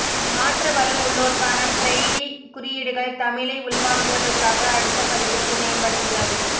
மாற்றுவலு உள்ளோர்க்கான பிரெய்லி குறியீடுகள் தமிழை உள்வாங்குவதற்காக அடுத்த பதிப்பிற்கு மேம்படுத்துதல்